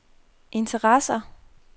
interesser